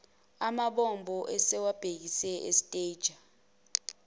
amabombo sebewabhekise estanger